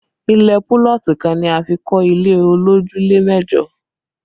Ilẹ̀ púlọ̀tì kan ni a fi kọ́ ilé olójúlé mẹ́jọ